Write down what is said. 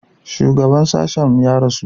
Shugaban sashen mu ya rasu.